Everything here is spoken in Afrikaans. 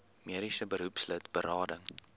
mediese beroepslid berading